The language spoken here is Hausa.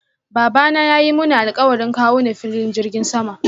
Babana yayi Muni alkawarin kawo ni filin jirgin sama.